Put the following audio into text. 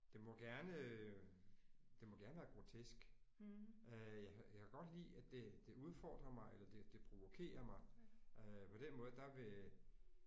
Det må gerne det må gerne være grotesk. Øh jeg kan jeg kan godt lide at det det udfordrer mig eller det det provokerer mig øh på den måde der vil